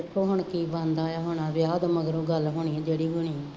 ਦੇਖੋ ਹੁਣ ਕੀ ਬਣਦਾ ਹੈ, ਹੁਣ ਆ ਵਿਆਹ ਤੋਂ ਮਗਰੋਂ ਗੱਲ ਹੋਣੀ ਜਿਹੜੀ ਵੀ ਹੋਣੀ ਹੈ